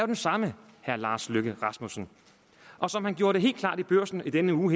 den samme herre lars løkke rasmussen og som han gjorde det helt klart i børsen i denne uge